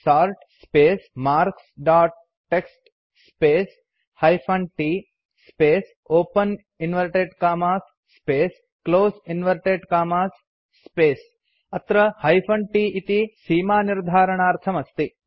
sort space marks dot TXT space hyphen t space open inverted commas space close inverted commas space अत्र hyphen t इति सीमानिर्धारणार्थम् अस्ति